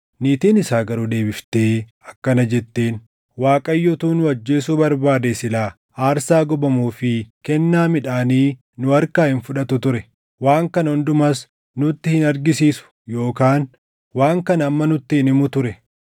Niitiin isaa garuu deebiftee akkana jetteen; “ Waaqayyo utuu nu ajjeesuu barbaadee silaa aarsaa gubamuu fi kennaa midhaanii nu harkaa hin fudhatu ture; waan kana hundumas nutti hin argisiisu yookaan waan kana amma nutti hin himu ture.”